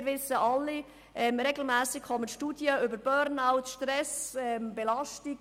Wir kennen alle die regelmässig erscheinenden Studien zu den Themen Burnout, Stress und Belastung.